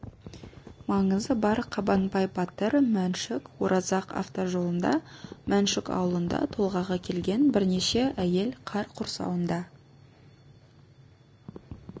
маңызы бар қабанбай батыр мәншүк оразақ автожолында мәншік аулында толғағы келген бірнеше әйел қар құрсауында